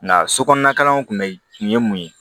Nka so kɔnɔna kalanw kun bɛ kun ye mun ye